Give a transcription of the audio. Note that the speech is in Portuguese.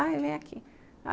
Ah, ele vem aqui.